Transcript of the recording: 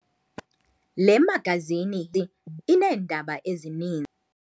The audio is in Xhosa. Le magazini ineendaba ezini.